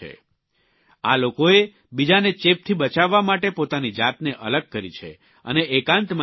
આ લોકોએ બીજાને ચેપથી બચાવવા માટે પોતાની જાતને અલગ કરી છે અને એકાંતમાં રહી રહ્યા છે